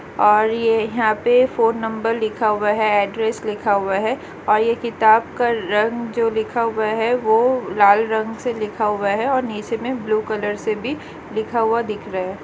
और ये यहाँ पे फ़ोन नंबर लिखा हुआ है एड्रेस लिखा हुआ है और ये किताब का रंग जो लिखा हुआ है वो लाल रंग से लिखा हुआ है और नीचे में ब्लू कलर से भी लिखा हुआ दिख रहा है।